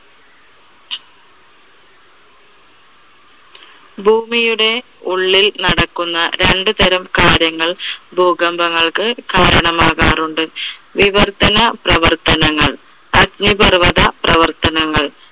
ഭൂമിയുടെ ഉള്ളിൽ നടക്കുന്ന രണ്ടു തരം കാര്യങ്ങൾ ഭൂകമ്പങ്ങൾക്ക് കാരണമാകാറുണ്ട്. വിവർത്തന പ്രവർത്തനങ്ങൾ, അഗ്നിപർവ്വത പ്രവർത്തനങ്ങൾ